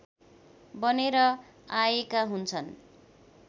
बनेर आएका हुन्छन्